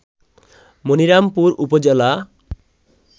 মণিরামপুর উপজেলা